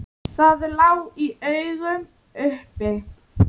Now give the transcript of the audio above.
Það lá í augum uppi.